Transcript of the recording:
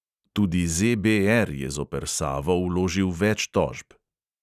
Tudi ZBR je zoper savo vložil več tožb.